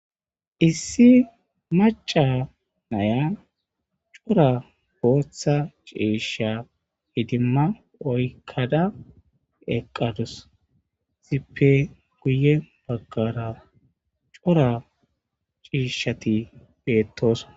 Issi maca naya cora booththa ciisha idimma oykkada eqqadus. Izippe guye baggara cora ciishshati beettoos.